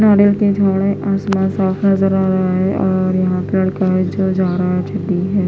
नारियल के झाड़े आसमान साफ नजर आ रहा है और यहां पेड़ है।